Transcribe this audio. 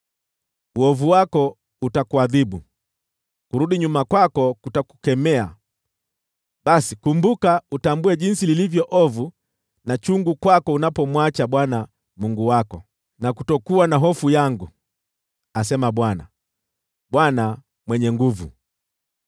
Uovu wako utakuadhibu; kurudi nyuma kwako kutakukemea. Basi kumbuka, utambue jinsi lilivyo ovu na chungu kwako unapomwacha Bwana Mungu wako na kutokuwa na hofu yangu,” asema Bwana, Bwana Mwenye Nguvu Zote.